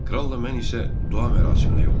Kral da mən isə dua mərasiminə yollandıq.